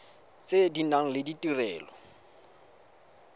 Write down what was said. tse di nang le ditirelo